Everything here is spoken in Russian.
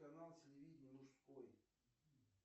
канал телевидения мужской